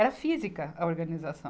Era física a organização.